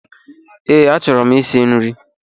Ee, achọrọ ịsị nri.